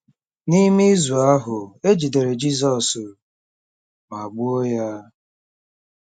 N'ime izu ahụ, e jidere Jizọs ma gbuo ya.